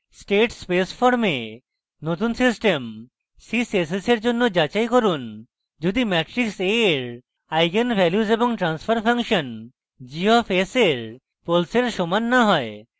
state space form নতুন system ধরুন sys s s for জন্য যাচাই করুন যদি matrix a for eigenvalues এবং transfer function g of s for poles সমান না হয়